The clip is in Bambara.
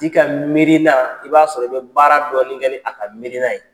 I ka miirina i b'a sɔrɔ i be baara dɔɔni kɛ ni a ka miirina ye.